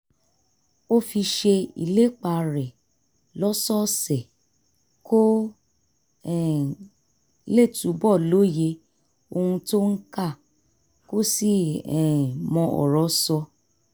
ó fi ṣe ìlépa rẹ̀ lọ́sọ̀ọ̀sẹ̀ kó um lè túbọ̀ lóye ohun tó ń kà kó sì um mọ ọ̀rọ̀ sọ